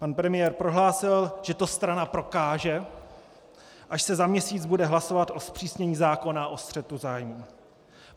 Pan premiér prohlásil, že to strana prokáže, až se za měsíc bude hlasovat o zpřísnění zákona o střetu zájmů.